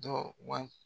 Dɔ wa